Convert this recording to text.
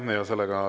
Aitäh!